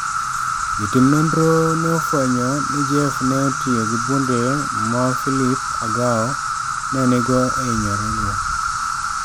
Jotim nonro ne ofwenyo ni Jeff ne otiyo gi bunde ma Philip Agawo ne nigo e hinyorego